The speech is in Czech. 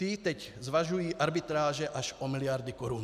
Ty teď zvažují arbitráže až o miliardy korun.